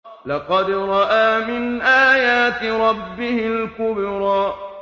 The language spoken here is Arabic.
لَقَدْ رَأَىٰ مِنْ آيَاتِ رَبِّهِ الْكُبْرَىٰ